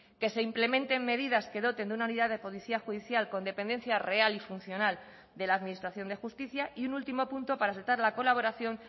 que se implementen medidas que doten de una unidad de policía judicial con dependencia real y funcional de la administración de justicia y un último punto para aceptar la colaboración